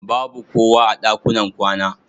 Babu kowa a ɗakunan kwana.